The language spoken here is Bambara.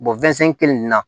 kelen nin na